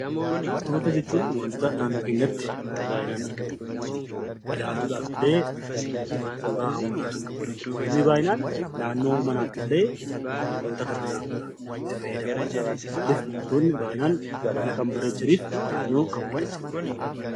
Biqiltoota jechuun wantoota naannoo keenyatti baayyinaan argamaniidha. Ilaaluudhaaf illee suuraa hawwataa kan qabaniidha. Namoonni baayyinaan naannoo manaatti illee biqiltoota kana dhabuudhaan itti fayyadamu. Maaliif biqiltootni baayyinaan mana kan bareechanii fi naannoo kan bareechaniidha.